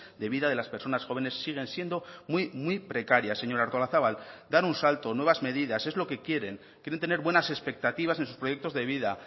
de vida de las personas jóvenes siguen siendo muy muy precarias señora artolazabal dar un salto nuevas medidas es lo que quieren quieren tener buenas expectativas en sus proyectos de vida